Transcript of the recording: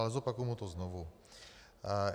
Ale zopakuji mu to znovu.